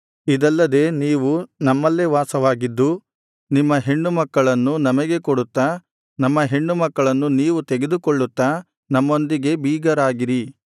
ಇದಲ್ಲದೆ ನೀವು ನಮ್ಮಲ್ಲೇ ವಾಸವಾಗಿದ್ದು ನಿಮ್ಮ ಹೆಣ್ಣು ಮಕ್ಕಳನ್ನು ನಮಗೆ ಕೊಡುತ್ತಾ ನಮ್ಮ ಹೆಣ್ಣುಮಕ್ಕಳನ್ನು ನೀವು ತೆಗೆದುಕೊಳ್ಳುತ್ತಾ ನಮ್ಮೊಂದಿಗೆ ಬೀಗರಾಗಿರಿ